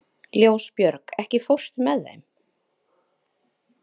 Ljósbjörg, ekki fórstu með þeim?